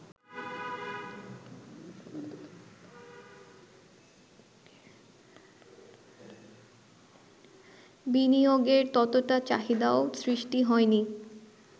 বিনিয়োগের ততোটা চাহিদাও সৃষ্টি হয়নি